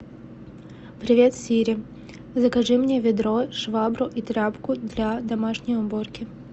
привет сири закажи мне ведро швабру и тряпку для домашней уборки